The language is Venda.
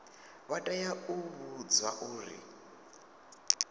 vha tea u vhudzwa uri